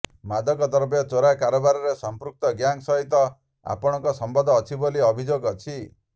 ମାଦକଦ୍ରବ୍ୟ ଚୋରା କାରାବାରରେ ସମ୍ପୃକ୍ତ ଗ୍ୟାଙ୍ଗ୍ ସହିତ ଆପଣଙ୍କ ସମ୍ୱନ୍ଧ ଅଛି ବୋଲି ଅଭିଯୋଗ ଅଛି